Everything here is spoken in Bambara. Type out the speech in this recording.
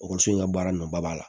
Ekɔliso in ka baara nɔba la